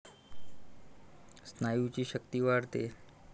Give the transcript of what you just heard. स्नायूंची शक्ती वाढते.